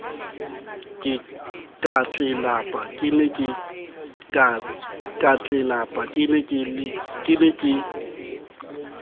ka tlelapa ke ne ke